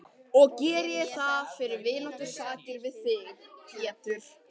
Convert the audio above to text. Og geri ég það fyrir vináttusakir við þig, Pétur.